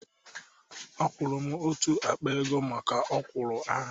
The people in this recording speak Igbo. A kwuru m otú akpa ego maka ọ̀kwụ́rụ́ ahu